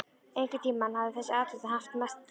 Einhvern tíma hafði þessi athöfn haft merkingu.